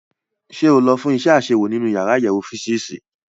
Ṣé o lọ fún iṣẹ́ àṣewò nínú yàrá àyẹ̀wò físììsì?